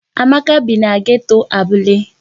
Amaka bi na geto Abule.